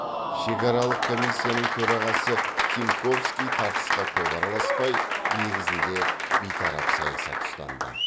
шекаралық комиссияның төрағасы тимковский тартысқа көп араласпай негізінде бейтарап саясат ұстанды